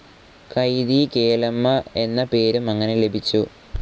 കൈതിക്കേലമ്മ എന്ന പേരും അങ്ങനെ ലഭിച്ചു.